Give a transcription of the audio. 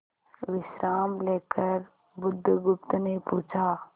विश्राम लेकर बुधगुप्त ने पूछा